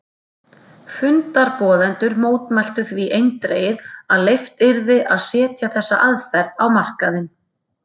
Fundarboðendur mótmæltu því eindregið að leyft yrði að setja þessa aðferð á markaðinn.